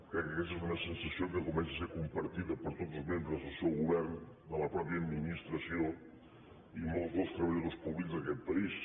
crec que aquesta és una sensació que comença a ser compartida per tots els membres del seu govern de la mateixa administració i molts dels treballadors públics d’aquest país